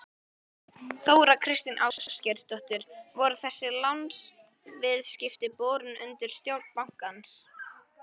Þóra Kristín Ásgeirsdóttir: Voru þessi lánaviðskipti borin undir stjórn bankans?